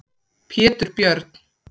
Pétur Björn.